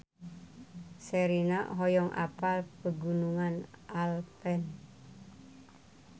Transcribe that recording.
Sherina hoyong apal Pegunungan Alpen